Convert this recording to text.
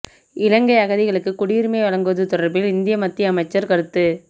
இலங்கை அகதிகளுக்கு குடியுரிமை வழங்குவது தொடர்பில் இந்திய மத்திய அமைச்சர் கருத்து